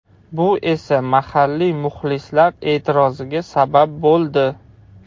Bu esa mahalliy muxlislar e’tiroziga sabab bo‘ldi.